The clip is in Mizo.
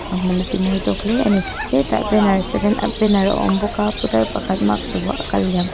a hmun a ti mawi tawk hle ani hetah banner seven ah banner a awm bawk a putar pakhat mask vuah a kal liam--